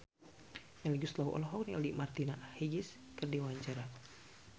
Melly Goeslaw olohok ningali Martina Hingis keur diwawancara